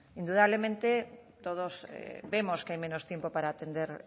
indudablemente todos vemos que hay menos tiempo para atender